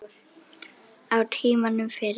Á tímanum fyrir